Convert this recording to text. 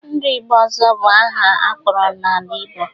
Ndụ Igbo ọzọ bụ aha akpọrọ n'ala Igbo